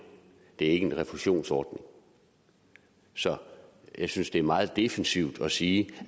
en refusionsordning så jeg synes det er meget defensivt at sige